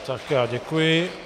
Tak, já děkuji.